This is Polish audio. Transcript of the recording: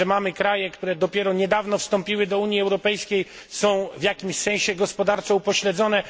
O tym, że mamy kraje, które dopiero niedawno wstąpiły do Unii Europejskiej i są w jakimś sensie gospodarczo upośledzone.